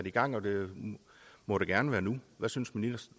i gang og det måtte gerne være nu hvad synes